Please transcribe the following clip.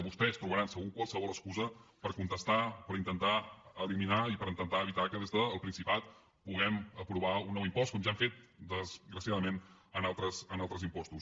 vostès trobaran segur qualsevol excusa per contestar per intentar eliminar i per intentar evitar que des del principat puguem aprovar un nou impost com ja han fet desgraciadament en altres impostos